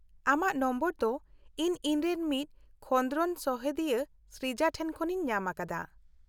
-ᱟᱢᱟᱜ ᱱᱚᱢᱵᱚᱨ ᱫᱚ ᱤᱧ ᱤᱧᱨᱮᱱ ᱢᱤᱫ ᱠᱷᱚᱸᱫᱨᱚᱱ ᱥᱚᱦᱮᱫᱤᱭᱟᱹ ᱥᱨᱤᱡᱟ ᱴᱷᱮᱱ ᱠᱷᱚᱱᱤᱧ ᱧᱟᱢᱟᱠᱟᱫᱟ ᱾